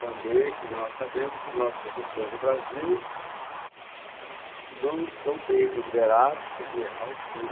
Também, quer dizer, nós sabemos que os nossos professores do Brasil não são bem remunerados, quer dizer, à altura.